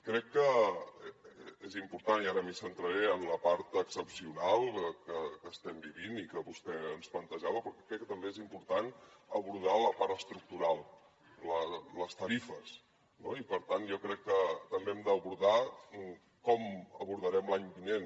crec que és important i ara m’hi centraré en la part excepcional que estem vivint i que vostè ens plantejava però crec que també és important abordar la part estructural les tarifes no i per tant jo crec que també hem d’abordar com abordarem l’any vinent